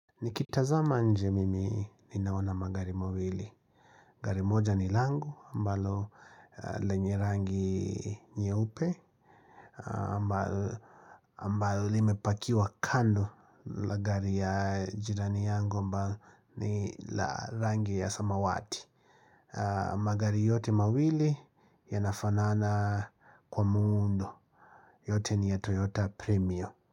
Nikitazama nje mimi ninaona magari mawili. Gari moja ni langu ambalo lenye rangi nyeupe. Ambayo limepakiwa kando la gari ya jirani yangu ambalo ni la rangi ya samawati. Magari yote mawili yanafanana kwa muundo. Yote ni ya Toyota Premium.